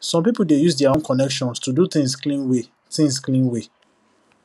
some people dey use their own connection to do things clean way things clean way